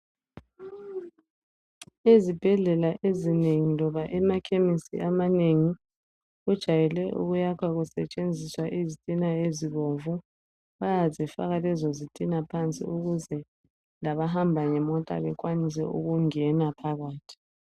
Ezibhedlela ezinengi loba emakhemisi amanengi, kujayele ukuyakhwa kusetshenziswa izitina ezibomvu. Bayazifaka lezozitima phansi ukuze labahamba ngemota bekwanise ukungena phakathi.